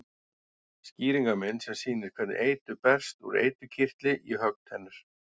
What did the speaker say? Skýringarmynd sem sýnir hvernig eitur berst úr eiturkirtli í höggtennur.